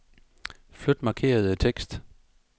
Flyt markerede tekst.